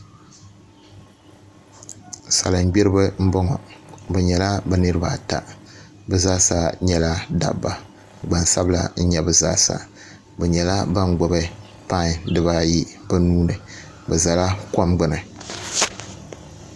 Salin gbiribi n boŋo bi nyɛla bi niraba ata bi zaa sa nyɛla dabba gbansabila n nyɛ bi zaa sa bi nyɛla ban gbubi pai dibayi bi nuuni bi ʒɛla kom gbuni